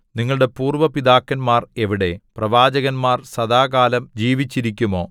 നിങ്ങളുടെ പൂര്‍വ പിതാക്കന്മാർ എവിടെ പ്രവാചകന്മാർ സദാകാലം ജീവിച്ചിരിക്കുമോ